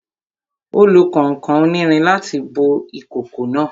Ó lo kànkàn onírin láti bó ìkòkò náà